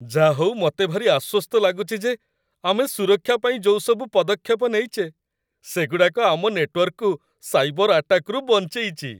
ଯାହା ହଉ ମତେ ଭାରି ଆଶ୍ୱସ୍ତ ଲାଗୁଚି ଯେ ଆମେ ସୁରକ୍ଷା ପାଇଁ ଯୋଉସବୁ ପଦକ୍ଷେପ ନେଇଚେ, ସେଗୁଡ଼ାକ ଆମ ନେଟୱର୍କକୁ ସାଇବର ଆଟାକରୁ ବଞ୍ଚେଇଚି ।